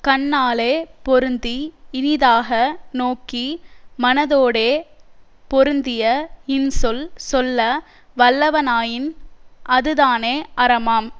கண்ணாலே பொருந்தி இனிதாக நோக்கி மனதோடே பொருந்திய இன்சொல் சொல்ல வல்லவனாயின் அதுதானே அறமாம்